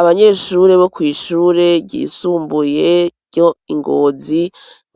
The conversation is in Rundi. Abanyeshure bo kw'ishure ryisumbuye ryo ingozi,